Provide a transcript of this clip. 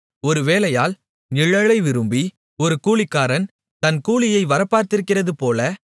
ஒரு வேலையாள் நிழலை விரும்பி ஒரு கூலிக்காரன் தன் கூலியை வரப்பார்த்திருக்கிறதுபோல